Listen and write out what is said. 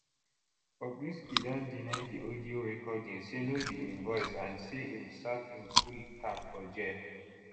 bobrisky don deny di audio recording say no be im voice and say im serve im full term for jail